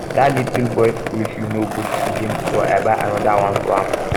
dat little boy boy um school shoe no good again so i buy another one for am